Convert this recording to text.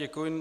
Děkuji.